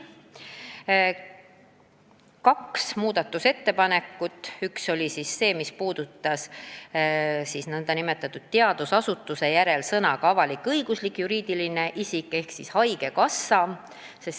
Tehti kaks muudatusettepanekut, millest üks puudutas nn teadusasutuse järel sõnu "avalik-õiguslik juriidiline isik" ehk haigekassa.